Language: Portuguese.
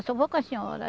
Eu só vou com a senhora.